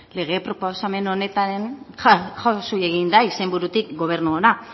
lege proposamen honetan jausi egin da izenburutik gobernu ona